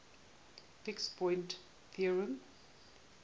fixed point theorem